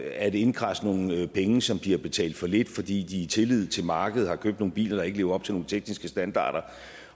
at indkradse nogle penge som de har betalt for lidt fordi de i tillid til markedet har købt nogle biler der ikke lever op til nogle tekniske standarder